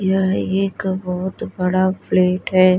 यह एक बहुत बड़ा फ्लैट है।